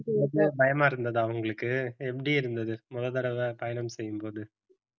பயமா இருந்ததா உங்களுக்கு எப்படி இருந்தது முதல் தடவை பயணம் செய்யும்போது